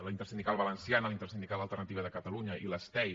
la intersindical valenciana la intersindical alternativa de catalunya i l’stei